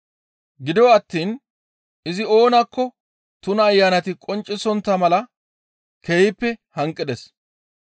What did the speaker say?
Gido attiin izi oonakko tuna ayanati qonccisontta mala keehippe hanqides.